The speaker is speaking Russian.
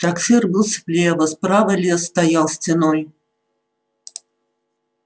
трактир был слева справа лес стоял стеной